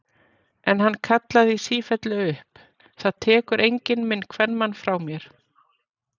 En hann kallaði í sífellu upp: Það tekur enginn minn kvenmann frá mér!